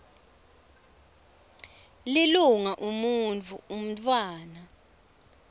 lilunga umuntfu umntfwana